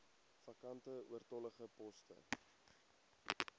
vakante oortollige poste